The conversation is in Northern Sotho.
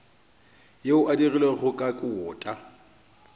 yeo e dirilwego ka kota